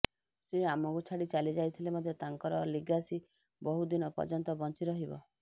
ସେ ଆମକୁ ଛାଡ଼ି ଚାଲିଯାଇଥିଲେ ମଧ୍ୟ ତାଙ୍କର ଲିଗାସୀ ବହୁଦିନ ପର୍ଯ୍ୟନ୍ତ ବଞ୍ଚି ରହିବ